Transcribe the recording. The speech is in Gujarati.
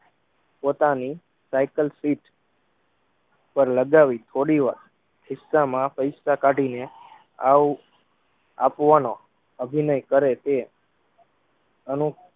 પોતાની સાઇકલ સીટ પર લગાવી થોડીવાર ખીસામાં પૈસા કાઠીને આવ આપવાનો અભિનય કરેતે અનુ